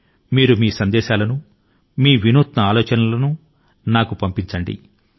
మీరు మీ యొక్క సందేశాలను వినూత్న మైనటువంటి ఆలోచనల ను నాకు పంపడాన్ని కొనసాగించాలి